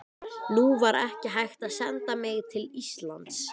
Nú var ekki hægt að senda mig til Íslands.